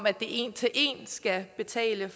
at det en til en skal betale